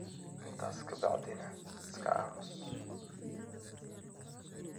intaas ka bacdina iska aamus.